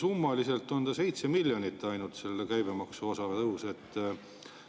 Summaliselt toob selle käibemaksu tõus ainult 7 miljonit.